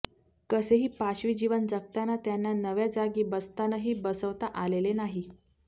कसेही पाशवी जीवन जगताना त्यांना नव्या जागी बस्तानही बसवता आलेले नाही